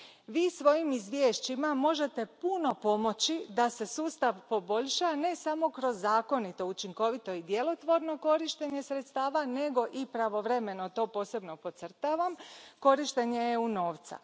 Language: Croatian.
Vi svojim izvješćima možete puno pomoći da se sustav poboljša, ne samo kroz zakonito, učinkovito i djelotvorno korištenje sredstava, nego i pravovremeno, to posebno podcrtavam, korištenje EU novca.